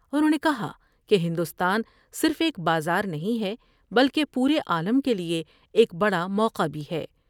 انہوں نے کہا کہ ہندوستان صرف ایک بازار نہیں ہے بلکہ پورے عالم کے لئے ایک بڑا موقع بھی ہے ۔